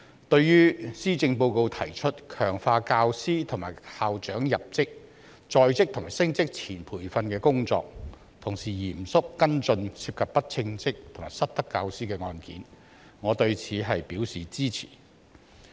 對於施政報告提出強化教師及校長入職、在職及升職前培訓的工作，同時嚴肅跟進涉及不稱職及失德教師的案件，我對此表示支持。